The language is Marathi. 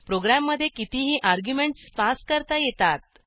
प्रोग्रॅममधे कितीही अर्ग्युमेंटस पास करता येतात